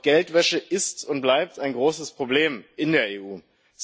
Doch Geldwäsche ist und bleibt ein großes Problem in der EU.